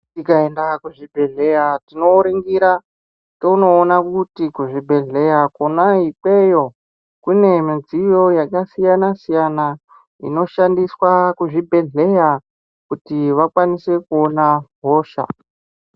Tikaenda kuzvibhedhlera tinoringira tonoona kuti kuzvibhedhlera kona ikweyo kune midziyo yakasiyana siyana inoshandiswa kuzvibhedhlera kuti vakwanise kuona hosha.